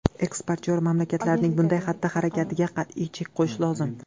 Eksportyor mamlakatlarning bunday xatti-harakatiga qat’iy chek qo‘yish lozim.